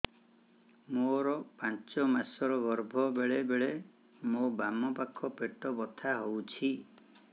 ମୋର ପାଞ୍ଚ ମାସ ର ଗର୍ଭ ବେଳେ ବେଳେ ମୋ ବାମ ପାଖ ପେଟ ବଥା ହଉଛି